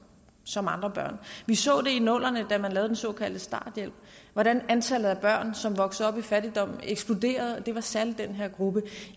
som andre børn vi så i nullerne da man lavede den såkaldte starthjælp hvordan antallet af børn som voksede op i fattigdom eksploderede og det var særlig den her gruppe